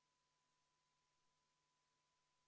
Hääletustulemused Poolt on 80 auväärset Riigikogu liiget, vastu on 1.